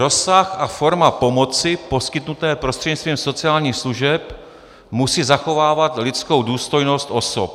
Rozsah a forma pomoci poskytnuté prostřednictvím sociálních služeb musí zachovávat lidskou důstojnost osob.